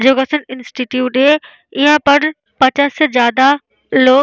योगासन इंस्टिट्यूट है यहाँ पर पचास से ज्यादा लोग --